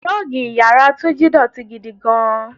Rọ́ọ́gì ìyára Túnjí dọ̀tí gidi gan-an.